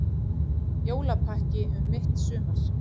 Jólapakki um mitt sumar